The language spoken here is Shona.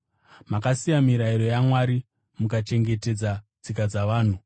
Makasiya mirayiro yaMwari mukachengetedza tsika dzavanhu.”